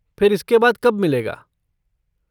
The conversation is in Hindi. फिर इसके बाद कब मिलेगा?